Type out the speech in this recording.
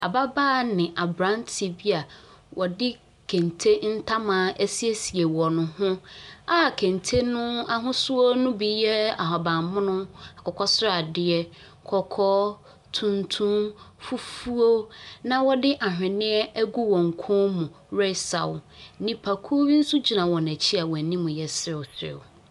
Ababaawa ne aberanteɛ bi a wɔde kente ntoma asiesie wɔn ho a kente no ahosuo no bi yɛ ahaban mono, akokɔ sradeɛ, kɔkɔɔ, tuntum, fufuo, na wɔde ahwenneɛ agu wɔn kɔn mu resaw. Nnipakuo bi nso gyina wɔn akyi a wɔn anim yɛ serewserew.